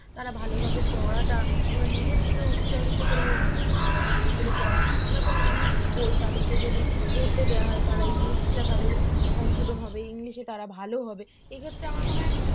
তারা ভালোভাবে পড়াটা নিজের থেকে উচ্চারিত করে উম মানে এগুলো পড়া কিংবা কোন english বই তাদেরকে যদি পড়তে দেওয়া হয় তারা english টা তাদের সংশোধন হবে english এ তারা ভালো হবে এক্ষেত্রে আমার মনে হয়